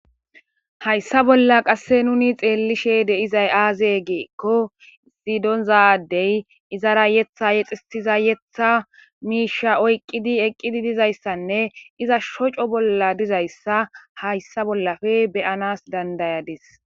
hayssa bolla qasse nuni xeellishe deizay aaze geekko issi donza ade izara yetha yexisiza yetha miisha oyqqidi eqqidi dizayssanne iza shoco bolla dizayssa hayssa bollafe beyanas dandayadis